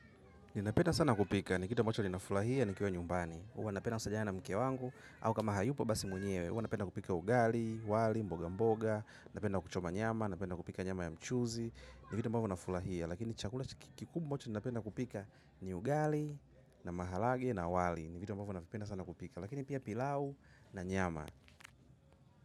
Ninapenda sana kupika. Ni kitu ambacho ninafurahia nikiwa nyumbani. Huwa napenda kusaidiana na mke wangu au kama hayupo basi mwenyewe. Huwa napenda kupika ugali, wali, mboga mboga. Napenda kuchoma nyama, napenda kupika nyama ya mchuzi. Ni vitu ambapo nafurahia. Lakini chakula kikubwa ambacho ninapenda kupika ni ugali. Na maharage na wali. Ni vitu ambapo navipenda sana kupika. Lakini pia pilau na nyama.